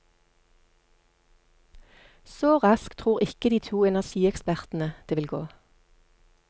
Så raskt tror ikke de to energiekspertene det vil gå.